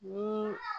Ni